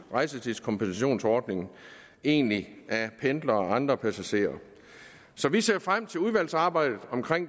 rejsetidskompensationsordningen egentlig af pendlere og andre passagerer så vi ser frem til udvalgsarbejdet